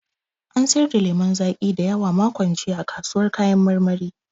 An sayar da lemun zaƙi da yawa makon jiya a kasuwar kayan marmari.